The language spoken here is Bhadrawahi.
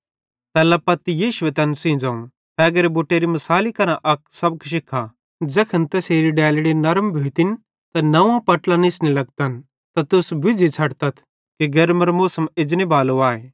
तैल्ला पत्ती यीशुए तैन सेइं ज़ोवं फ़ेगेरे बुटेरे मिसाले केरां अक सबक शिख्खा ज़ैखन तैसेरी डैलड़ी नरम भोइतां त नंव्वां पट्लां निस्ने लगतन ते तुस बुज़्झ़ी छ़ड्तथ कि गेर्मेरो मौसम एजनेबालो आए